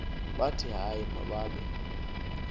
bathi hayi mababe